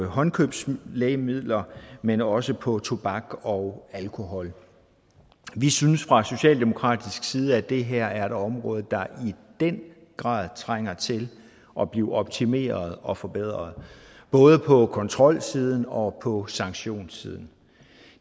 håndkøbslægemidler men også på tobak og alkohol vi synes fra socialdemokratisk side at det her er et område der i den grad trænger til at blive optimeret og forbedret både på kontrolsiden og på sanktionssiden